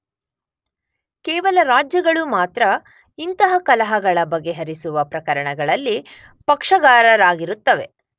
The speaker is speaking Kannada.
ಕೇವಲ ರಾಜ್ಯ ಗಳು ಮಾತ್ರ ಇಂತಹ ಕಲಹಗಳ ಬಗೆಹರಿಸುವ ಪ್ರಕರಣಗಳಲ್ಲಿ ಪಕ್ಷಗಾರರಾಗಿರುತ್ತವೆ.